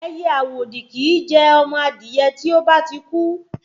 Ẹyẹ àwòdì kìí jẹ ọmọ adìyẹ tí ó bá ti kú